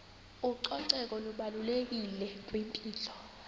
ucoceko lubalulekile kwimpilo